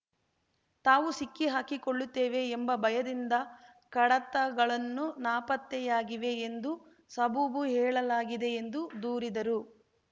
ತಾವು ಸಿಕ್ಕಿಹಾಕಿಕೊಳ್ಳುತ್ತೇವೆ ಎಂಬ ಭಯದಿಂದ ಕಡತಗಳನ್ನು ನಾಪತ್ತೆಯಾಗಿವೆ ಎಂದು ಸಬೂಬು ಹೇಳಲಾಗಿದೆ ಎಂದು ದೂರಿದರು